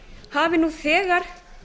hafi nú þegar